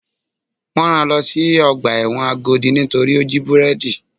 Wọ́n rán-an lọ sí ọgbà ẹ̀wọ̀n Agodi torí ó jí búrẹ́dì.